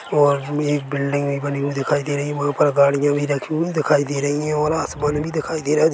--और हमे एक बिल्डिंग भी बनी हुई दिखाई दे रही है वह पर गड़िया भी रखी हुई दिखाई दे रही है और आसमान भी दिखाई दे रहा है।